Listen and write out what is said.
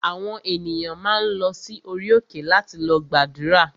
Àwọn ènìyàn máa ń lọ sí orí òkè láti lọ gbàdúrà